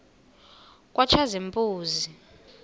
katshazimpuzi